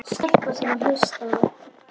Stelpa sem hlustað var á.